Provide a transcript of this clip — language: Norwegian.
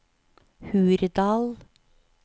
Hurdal